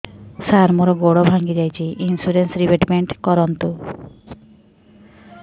ସାର ମୋର ଗୋଡ ଭାଙ୍ଗି ଯାଇଛି ଇନ୍ସୁରେନ୍ସ ରିବେଟମେଣ୍ଟ କରୁନ୍ତୁ